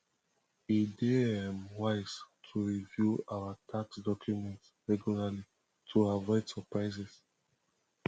e dey um wise to review our tax documents regularly to avoid surprises